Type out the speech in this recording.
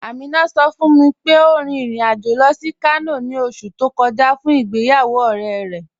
Aminà sọ̀ fún mi pé ó rìn ìrìn-àjọ̀ lọ sí Kànò ni ọ̀ṣù tó kọja fún ìgbéyàwó ọ̀rẹ̀ rẹ.